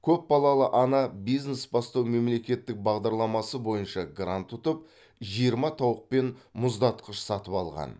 көпбалалы ана бизнес бастау мемлекеттік бағдарламасы бойынша грант ұтып жиырма тауық пен мұздатқыш сатып алған